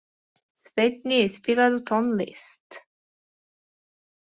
Svenni, spilaðu tónlist.